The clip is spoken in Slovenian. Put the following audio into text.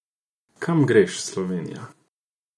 Kam greš, Slovenija?